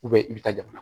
i bɛ taa jamana